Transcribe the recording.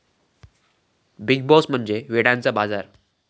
big Boss म्हणजे वेड्यांचा बाजार'